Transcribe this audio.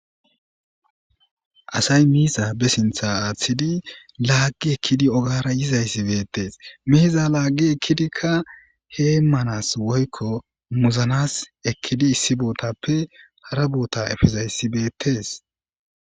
Asay miiza ba sinththa aathidi laagi ekkidi ogeyara yizayssi beettees miiza laagi ekkidika heemanas woykko muzanas issi bootappe hara boota efizayssi beettees.